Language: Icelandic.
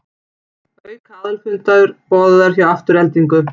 Auka aðalfundur boðaður hjá Aftureldingu